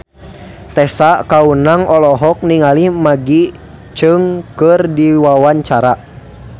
Tessa Kaunang olohok ningali Maggie Cheung keur diwawancara